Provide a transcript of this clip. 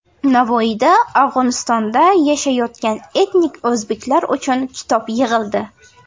Navoiyda Afg‘onistonda yashayotgan etnik o‘zbeklar uchun kitob yig‘ildi.